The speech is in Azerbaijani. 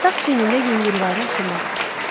Sağ çiyinində yüngülvari qaşınma var.